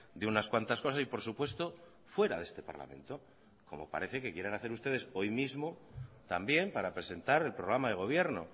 de unas cuantas cosas y por supuesto fuera de este parlamento como parece que quieren hacer ustedes hoy mismo también para presentar el programa de gobierno